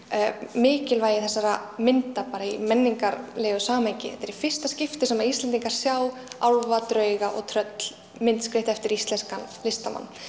mikilvægi þessara mynda bara í menningarlegu samhengi þetta er í fyrsta skipti sem Íslendingar sjá álfa drauga og tröll myndskreytt eftir íslenskan listamann